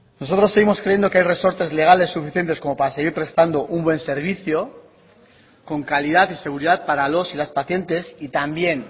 nosotros seguimos creyendo que hay resortes legales suficientes como para seguir prestando un buen servicio con calidad y seguridad para los y las pacientes y también